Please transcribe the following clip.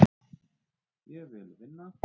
Ég vil vinna.